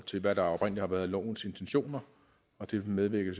til hvad der oprindelig har været lovens intentioner og dem medvirker